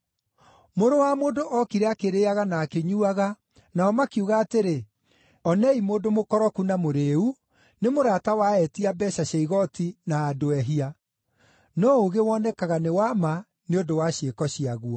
Mũrũ wa Mũndũ ookire akĩrĩĩaga na akĩnyuuaga, nao makiuga atĩrĩ, ‘Onei mũndũ mũkoroku na mũrĩĩu, nĩ mũrata wa etia mbeeca cia igooti na “andũ ehia”.’ No ũũgĩ wonekaga nĩ wa ma nĩ ũndũ wa ciĩko ciaguo.”